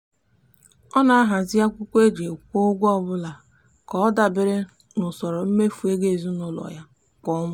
ọ na-ahazi akwụkwọ e ji kwụọ ụgwọ ọbụla ka ọ dabere n'usoro mmefu ego ezinụụlọ ya kwa ọnwa.